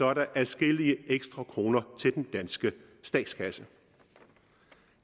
er der adskillige ekstra kroner til den danske statskasse